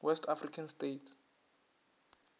west african states